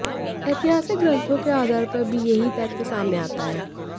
ऐतिहासिक ग्रंथों के आधार पर भी यही तथ्य सामने आता है